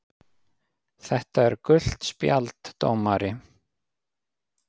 . þetta er gult spjald dómari!!!